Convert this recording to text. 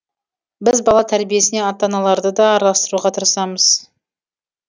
біз бала тәрбиесіне ата аналарды да араластыруға тырысамыз